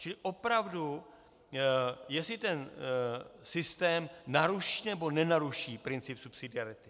Čili opravdu jestli ten systém naruší, nebo nenaruší princip subsidiarity.